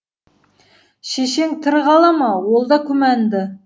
шешең тірі қала ма ол да күмәнді